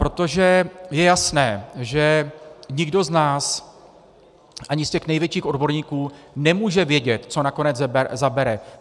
Protože je jasné, že nikdo z nás, ani z těch největších odborníků, nemůže vědět, co nakonec zabere.